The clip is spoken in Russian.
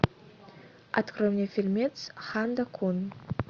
открой мне фильмец ханда кун